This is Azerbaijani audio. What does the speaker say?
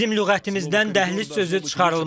Bizim lüğətimizdən dəhliz sözü çıxarılmalıdır.